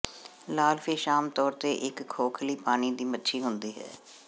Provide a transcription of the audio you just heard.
ਲਾਲਫਿਸ਼ ਆਮ ਤੌਰ ਤੇ ਇੱਕ ਖੋਖਲੀ ਪਾਣੀ ਦੀ ਮੱਛੀ ਹੁੰਦੀ ਹੈ